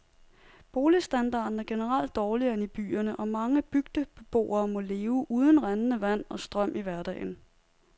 Boligstandarden er generelt dårligere end i byerne, og mange bygdebeboere må leve uden rindende vand og strøm i hverdagen.